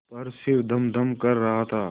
पर सिर धमधम कर रहा था